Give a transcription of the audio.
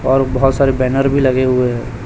और बहोत सारे बैनर भी लगे हुए हैं।